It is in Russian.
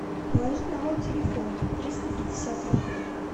положить на мой телефон триста пятьдесят рублей